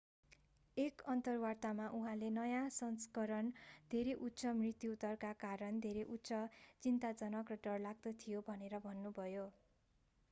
एक अन्तर्वार्तामा उहाँले नयाँ सँस्करण धेरै उच्च मृत्यु दरका कारण धेरै उच्च चिन्ताजनक र डरलाग्दो थियो भनेर भन्नुभयो